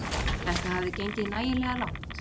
Þetta hafði gengið nægilega langt.